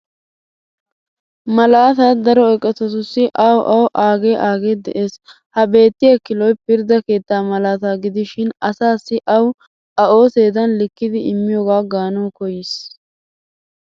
Malaata daro eqotatussi awu awu aagee agee des. Ha beettiya kiloy pirdda keettaa malaataa gidishin asaassi awu a ooseedan likkidi immiyoogaa gaanawu koyyis.